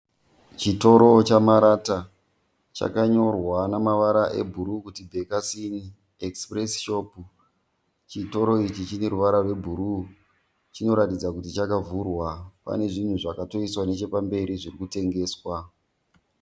Chitoro chemarata chakanyorwa neruvara rwe Blue ku Bakers Inn Express shop. Chitoro ichi chine ruvara rwe blue chinoratidza kuti chakavhurwa , pane zvinhu zvakatoiswa nechepamberi zviri kutengeswa.